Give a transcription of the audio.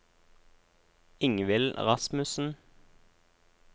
Ingvill Rasmussen